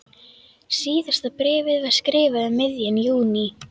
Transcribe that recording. Síðasta bréfið var skrifað um miðjan júní.